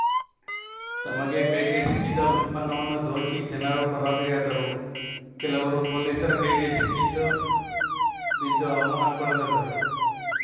ತಮಗೆ ಕೈಗೆ ಸಿಕ್ಕಿದ್ದ ಉತ್ಪನ್ನವನ್ನು ದೋಚಿ ಜನರು ಪರಾರಿಯಾದರು ಕೆಲವರು ಪೊಲೀಸರ ಕೈಗೆ ಸಿಕ್ಕಿದ್ದು ಬಿದ್ದು ಅವಮಾನಕ್ಕೊಳಗಾದರು